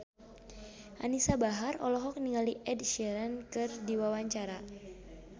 Anisa Bahar olohok ningali Ed Sheeran keur diwawancara